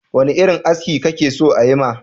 Wane irin aski kake so ayi ma?